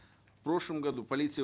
в прошлом году полиция